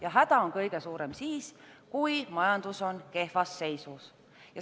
Ja häda on kõige suurem siis, kui majandus on kehvas seisus.